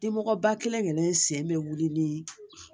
Dimɔgɔba kelen kelen sen bɛ wuli ni